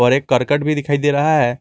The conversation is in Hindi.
पर एक करकट भी दिखाई दे रहा है।